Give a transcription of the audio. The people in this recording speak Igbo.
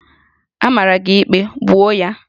A mara gị ikpe, gbuo ya!